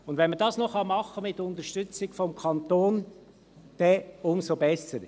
Wenn man dies mit Unterstützung des Kantons machen kann, dann umso besser.